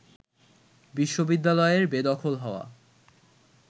বিশ্ববিদ্যালয়ের বেদখল হওয়া